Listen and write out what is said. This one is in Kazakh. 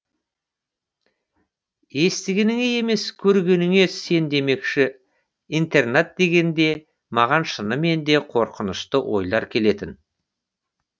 естігеніңе емес көргеніңе сен демекші интернат дегенде маған шынымен де қорқынышты ойлар келетін